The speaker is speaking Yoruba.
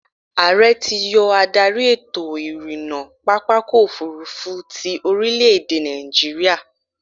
Ààrẹ ti yọ adarí ètò-ìrìnnà pápákọ̀-òfurufú ti orílè-èdè nàìjíríà.